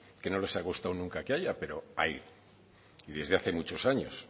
que no les ha gustado nunca que haya pero hay y desde hace muchos años